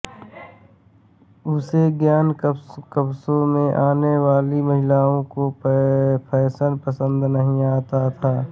उसे इन कस्बों में आने वाली महिलाओं का फैशन पसंद नहीं आता था